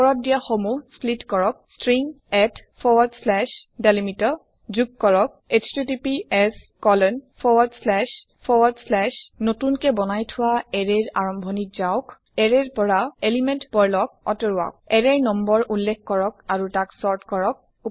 উপৰত দিয়া সমুহ স্প্লিট কৰক ষ্ট্ৰিং আত ডেলিমিটাৰ যোগ কৰক এছটিটিপিএছ আত the start of an newly created array গুচাওক আতৰাওক element pearl from the array array ৰ নম্বৰ উল্লেখ কৰক আৰু তাক চৰ্ত কৰক